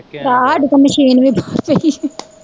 ਹਾਂ ਸਾਡੀ ਤਾਂ ਮਸ਼ੀਨ ਬਾਹਰ ਵੀ ਪਈ